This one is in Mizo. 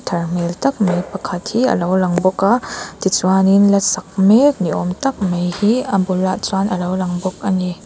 thar hmel tak mai pakhat hi alo lang bawk a tichuanin la sak mek ni awm tak mai hi a bulah chuan alo lang bawk ani.